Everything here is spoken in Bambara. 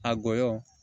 A gɔyɔ